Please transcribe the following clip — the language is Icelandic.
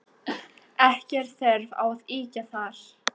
Ekki er þörf á að ýkja þar.